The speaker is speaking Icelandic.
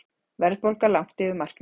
Verðbólga langt yfir markmiði